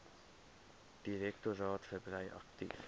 direktoraat verbrei aktief